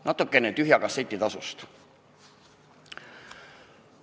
Natukene tühja kasseti tasust.